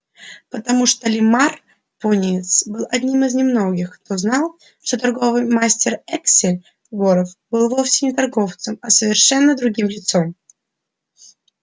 потому что лиммар пониетс был одним из немногих кто знал что торговый мастер эксель горов был вовсе не торговцем а совершенно другим лицом